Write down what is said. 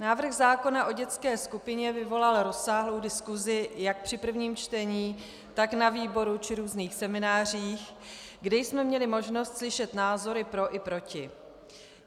Návrh zákona o dětské skupině vyvolal rozsáhlou diskusi jak při prvním čtení, tak na výboru či různých seminářích, kde jsme měli možnost slyšet názory pro i proti.